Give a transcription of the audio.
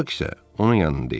Bak isə onun yanında idi.